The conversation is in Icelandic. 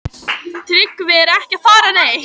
Tryggvi er ekki að fara neitt.